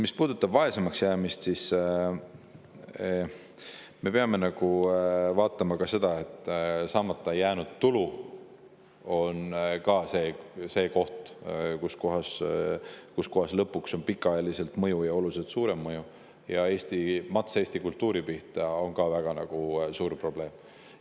Mis puudutab vaesemaks jäämist, siis me peame vaatama seda, et saamata jäänud tulu on ka see, millel lõpuks on pikaajaline ja oluliselt suurem mõju ning mats Eesti kultuuri pihta on ka väga suur probleem.